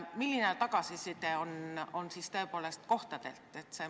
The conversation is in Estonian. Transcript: Milline tagasiside on kohtadelt?